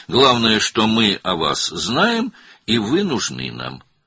Əsas odur ki, biz sizi tanıyırıq və siz bizə lazımsınız.